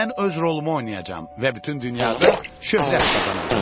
Mən öz rolumu oynayacağam və bütün dünyada şöhrət qazanacağam.